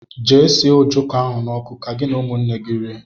Jee sie ọjọko ahụ na ọkụ, ka gị na ụmụnne gị rie!!!!